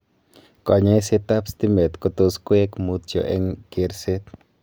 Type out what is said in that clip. kanyaishet ap stimet kotus koeg mutyo eng kerset